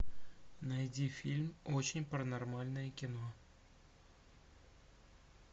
найди фильм очень паранормальное кино